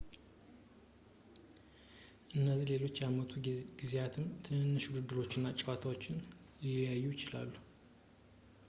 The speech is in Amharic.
እዚህ በሌሎች የአመቱ ጊዜያትም ትንንሽ ውድድሮች እና ጨዋታዎችም ሊታዩ ይችላሉ